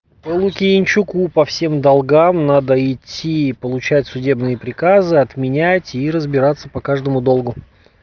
лукьянчук у по всем долгам надо идти получать судебные приказы отменять и разбираться по каждому долгу